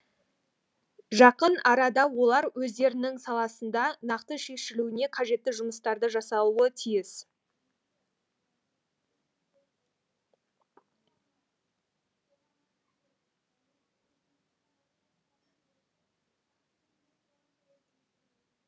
жақын арада олар өздерінің саласында нақты шешілуіне қажетті жұмыстарды жасауы тиіс